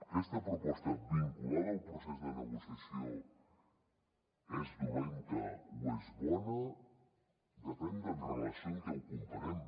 aquesta proposta vinculada al procés de negociació és dolenta o és bona depèn de en relació amb què ho comparem